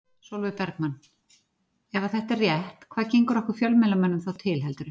Sólveig Bergmann: Ef að þetta er rétt hvað gengur okkur fjölmiðlamönnum þá til heldurðu?